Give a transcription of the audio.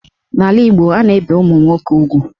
N'ala Igbo, a na-ebe ụmụnwoke ugwu.